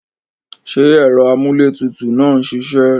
Ṣé ẹ̀rọ amúlétutù náà ń ṣiṣẹ́?